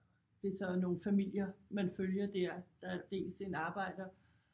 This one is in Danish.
Det så nogle familier man følger dér der er dels en arbejder